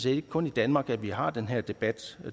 ikke kun i danmark at vi har den her debat